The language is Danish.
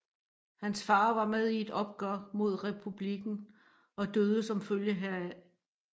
Hans far var med i et oprør mod Republikken og døde som følge heraf